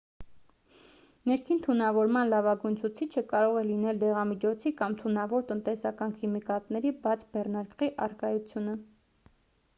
ներքին թունավորման լավագույն ցուցիչը կարող է լինել դեղամիջոցի կամ թունավոր տնտեսական քիմիկատների բաց բեռնարկղի առկայությունը